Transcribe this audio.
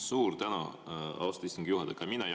Suur tänu, austatud istungi juhataja!